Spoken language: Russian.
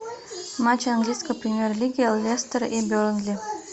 матч английской премьер лиги лестер и бернли